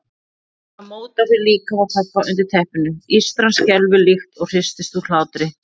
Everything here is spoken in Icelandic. Það mótar fyrir líkama pabba undir teppinu, ístran skelfur líkt og hristist úr hlátri.